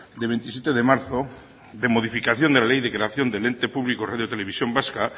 de veintisiete de marzo de modificación de la ley de creación del ente público radio televisión vasca